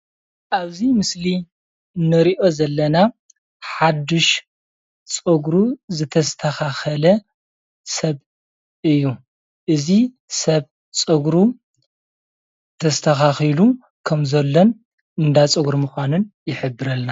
ኣብዚ ምስሊ ንሪኦ ዘለና ሓዱሽ ፀጉሩ ዝተስተኻኸለ ሰብ እዩ። እዚ ሰብ ፀጉሩ ተስተኻኺሉ ከም ዘሎን እንዳ ፀጉሪ ምዃኑን ይሕብረልና።